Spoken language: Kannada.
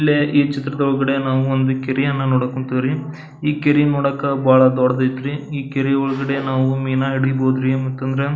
ಇಲ್ಲೇ ಈ ಚಿತ್ರದಒಳಗಡೆ ನಾವು ಒಂದು ಕೆರಿ ಯನ್ನು ನೋಡಕ್ ಹೊಂತೀವ್ರಿ. ಈ ಕೆರಿ ನೋಡಾಕ ಬಹಳ ದೊಡ್ಡದೈತ್ರಿ. ಈ ಕೆರಿ ಒಳಗಡೆ ನಾವು ಮೀನಾ ಹಿಡೀಬಹುದುರೀ ಮತ್ತಂದ್ರ --